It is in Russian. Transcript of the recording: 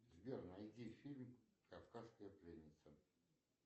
сбер найди фильм кавказская пленница